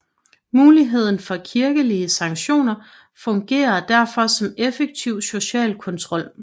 Muligheden for kirkelige sanktioner fungerede derfor som effektiv social kontrol